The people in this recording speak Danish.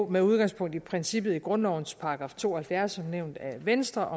med udgangspunkt i princippet i grundlovens § to og halvfjerds som nævnt af venstre